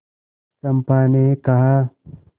चंपा ने कहा